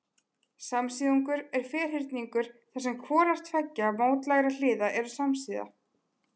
Samsíðungur er ferhyrningur þar sem hvorar tveggja mótlægra hliða eru samsíða.